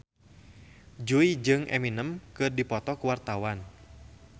Jui jeung Eminem keur dipoto ku wartawan